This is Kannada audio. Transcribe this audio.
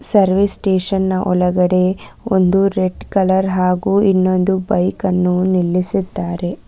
ಸರ್ವಿಸ್ ಸ್ಟೇಷನ್ ನ ಒಳಗಡೆ ಒಂದು ರೆಡ್ ಕಲರ್ ಹಾಗು ಇನ್ನೊಂದು ಬೈಕನ್ನು ನಿಲ್ಲಿಸಿದ್ದಾರೆ.